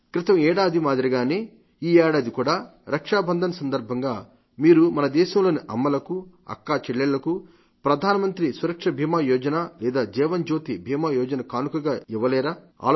క్రితం ఏడాది మాదిరిగానే ఈ ఏడాది కూడా రక్షాబంధన్ సందర్భంగా మీరు మన దేశంలోని అమ్మలకు అక్కాచెల్లెళ్లకు ప్రధానమంత్రి సురక్షా బీమా యోజన లేదా జీవన్ జ్యోతి బీమా యోజన కానుకగా ఇవ్వలేరా